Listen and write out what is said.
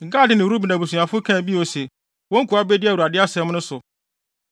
Gad ne Ruben abusuafo kaa bio se, “Wo nkoa bedi Awurade asɛm so;